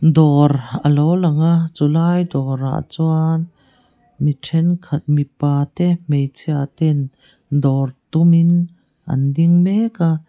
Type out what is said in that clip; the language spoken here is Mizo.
dawr alo lang a chulai dawrah chuan mi thenkhat mipa te hmeichhia ten dawr tum in an ding mek a.